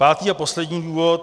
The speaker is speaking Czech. Pátý a poslední důvod.